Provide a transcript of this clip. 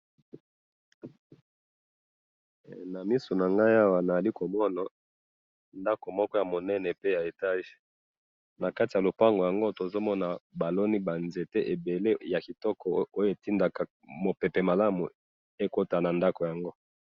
Awa na moni ndako ya munene ya etage na liboso na yango baloni ba nzete po mopepe ekota nakati.